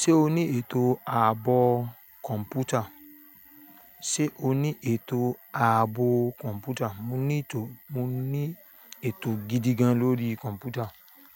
Ṣé o ní ètò ààbò kọ̀ǹpútà? Ṣé o ní ètò ààbò kọ̀ǹpútà? Mo ní ètò, mo ní ètò gidi gan-an lórí kọ̀ǹpútà.